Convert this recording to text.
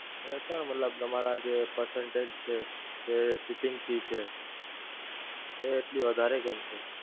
અને sir મતલબ તમારા જે percentage છે, જે Shipping Fees છે, એ એટલી વધારે કેમ છે?